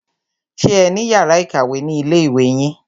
Ṣé ẹ ní yàrá ìkàwé ni ilé ìwé yín?